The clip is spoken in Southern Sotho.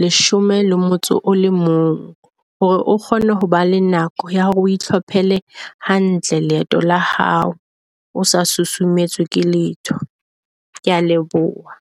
leshome le motso o le mong, hore o kgone ho ba le nako ya hore o hlophele hantle, leeto la hao o sa susumetswe ke letho. Kea leboha.